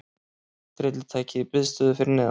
Tryllitækið í biðstöðu fyrir neðan.